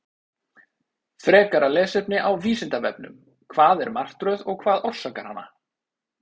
Frekara lesefni á Vísindavefnum: Hvað er martröð og hvað orsakar hana?